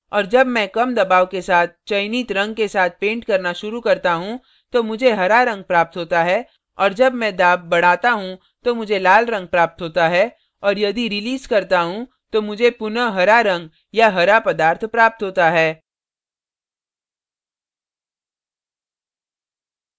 और जब मैं कम दबाव के साथ चयनित रंग के साथ पेंट करना शुरू करता हूँ तो मुझे हरा रंग प्राप्त होता है और जब मैं दाब